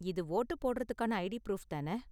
இது வோட்டு போடுறதுக்கான ID proof தான?